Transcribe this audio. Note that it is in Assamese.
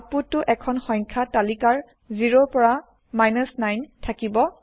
আউতপুত টো এখন সংখ্যা তালিকাৰ 0 পৰা 9 থাকিব